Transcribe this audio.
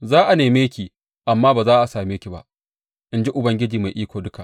Za a neme ki, amma ba za a ƙara same ki ba, in ji Ubangiji Mai Iko Duka.